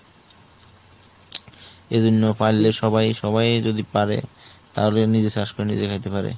এই জন্য সবাই সবাই যদি পারে তাহলে নিজে চাষ করে নিজে খেতে পারে।